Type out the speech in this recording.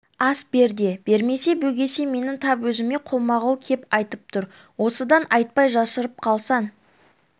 ас бер де бермесе бөгесе менің тап өзіме қолма-қол кеп айтып тұр осыдан айтпай жасырып қалсаң